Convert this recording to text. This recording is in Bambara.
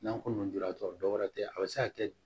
N'an ko lujuratɔ dɔwɛrɛ tɛ a bɛ se ka kɛ